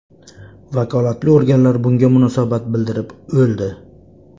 Vakolatli organlar bunga munosabat bildirib o‘ldi.